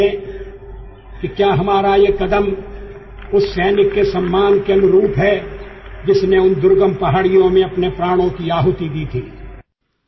ఈ సూత్రం ఏమిటంటే ఏదైనా ముఖ్యమైన నిర్ణయం తీసుకునే ముందు ఆ నిర్ణయం దుర్గమమైన కొండలలో తన జీవితాన్ని త్యాగం చేసిన సైనికుడి గౌరవానికి అనుగుణంగా ఉంటుందా లేదా అనేది కూడా చూడాలి